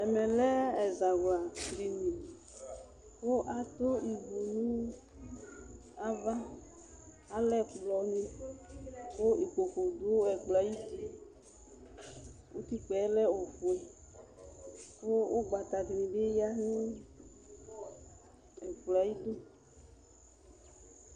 Ɛmɛ lɛ ɛzawla dini kʋ adʋ ivu nʋ avaAlɛ ɛkplɔ nɩ kʋ ikpoku dʋ ɛkplɔ ayʋ utiUtikpǝ ɛlɛ ofue, kʋ ʋgbata dɩnɩ bɩ ya nʋ ɛkplɔ ayidu